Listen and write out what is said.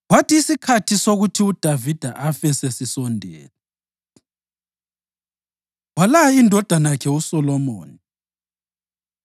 Kwathi isikhathi sokuthi uDavida afe sesisondele, walaya indodana yakhe uSolomoni.